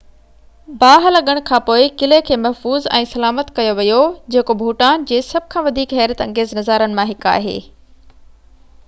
باهه لڳڻ کان پوءِ قلعي کي محفوظ ۽ سلامت ڪيو ويو جيڪو ڀوٽان جي سڀ کان وڌيڪ حيرت انگيز نظارن مان هڪ آهي